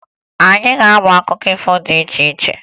Anyị ga-amụ maka akụkọ ifo dị iche iche